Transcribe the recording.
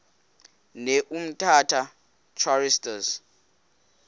ne umtata choristers